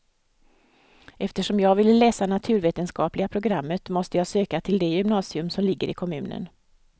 Eftersom jag ville läsa naturvetenskapliga programmet måste jag söka till det gymnasium som ligger i kommunen.